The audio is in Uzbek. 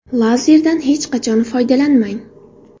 Lazerdan hech qachon foydalanmang!